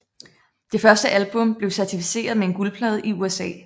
Det første album blev certificeret med en guldplade i USA